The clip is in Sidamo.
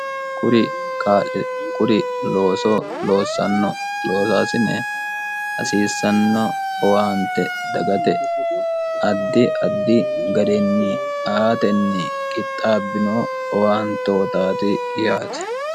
kuri looso loossanno loosoasine hasiissanno owaante dagate addi addi ga'rinni aatenni qixxaabbino owaantootaati yaate